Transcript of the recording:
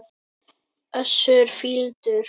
Össur fýldur.